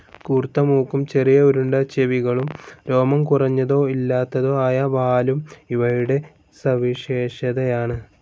കൂർത്ത മൂക്കും ചെറിയ റൌണ്ട്‌ ചെവികളും, രോമം കുറഞ്ഞതോ ഇല്ലാത്തതോ ആയ വാലും ഇവയുടെ സവിശേഷതയാണ്.